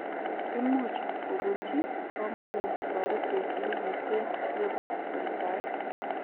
Imuch kobunji komonut toretet nekiten nebo soitaet.